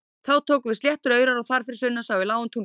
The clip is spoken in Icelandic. Þá tóku við sléttir aurar og þar fyrir sunnan sá í lágan túngarð.